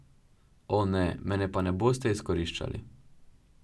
O, ne, mene pa ne boste izkoriščali!